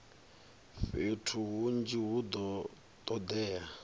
fhethu hunzhi hu do todea